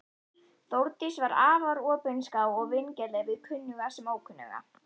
Þórdís var afar opinská og vingjarnleg við kunnuga sem ókunnuga.